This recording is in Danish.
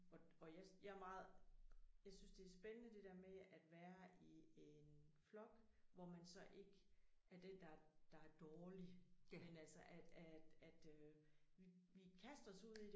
Og og jeg jeg meget jeg synes det er spændende det der med at være i en flok hvor man så ikke er den der det er dårlig men altså at at øh vi vi kaster os ud i det